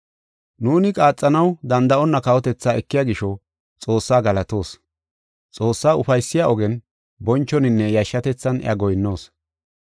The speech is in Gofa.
Nuuni qaaxanaw danda7onna kawotethaa ekiya gisho Xoossaa galatoos; Xoossaa ufaysiya ogen bonchoninne yashshatethan iya goyinnoos.